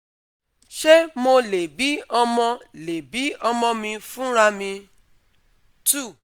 Ṣé mo lè bi omo lè bi omo mi fun ra mi? two